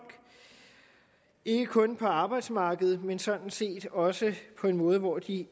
ikke kun på arbejdsmarkedet men sådan set også på en måde hvor de